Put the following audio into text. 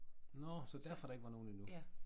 Nåh så derfor der ikke var nogen endnu